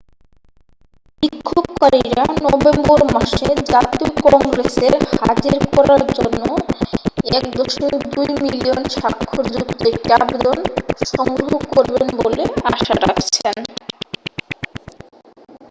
বিক্ষোভকারীরা নভেম্বর মাসে জাতীয় কংগ্রেসের হাজির করার জন্য 1.2 মিলিয়ন স্বাক্ষরযুক্ত একটি আবেদন সংগ্রহ করবেন বলে আশা রাখছেন